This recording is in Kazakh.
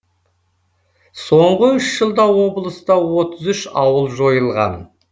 соңғы үш жылда облыста отыз үш ауыл жойылған